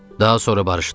Daha sonra barışdıq.